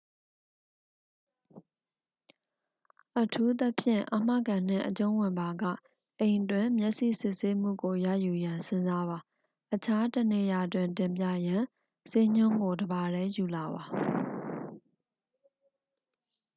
အထူးသဖြင့် အာမခံနှင့်အကျုံးဝင်ပါက အိမ်တွင် မျက်စိစစ်ဆေးမှုကိုရယူရန်စဉ်းစားပါ အခြားတစ်နေရာတွင် တင်ပြရန် ဆေးညွှန်းကို တစ်ပါတည်းယူလာပါ